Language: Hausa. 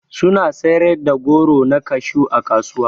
Suna siyar da goro na kashew ã kasuwa.